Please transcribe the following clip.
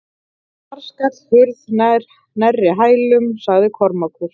Þar skall hurð nærri hælum, sagði Kormákur.